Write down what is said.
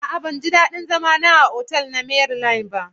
A'a ban ji dadin zama na a otal na Maryland ba.